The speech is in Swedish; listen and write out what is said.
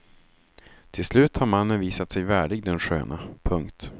Till slut har mannen visat sig värdig den sköna. punkt